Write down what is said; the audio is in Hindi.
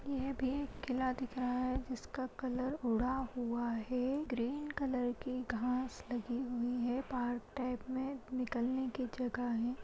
यह भी एक किला दिख रहा है जिसका कलर उड़ा हुआ है ग्रीन कलर की घास लगी हुई है पार्क टाइप में निकलने की जगह है।